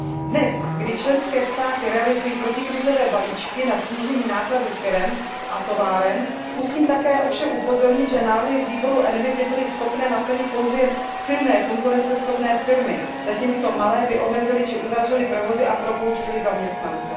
Dnes, kdy členské státy realizují protikrizové balíčky na snížení nákladů firem a továren, musím také ovšem upozornit, že návrhy z výboru ENVI by byly schopné naplnit pouze silné konkurenceschopné firmy, zatímco malé by omezily či uzavřely provozy a propouštěly zaměstnance.